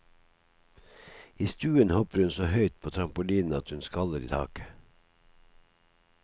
I stuen hopper hun så høyt på trampoline at hun skaller i taket.